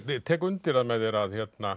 tek undir það með þér að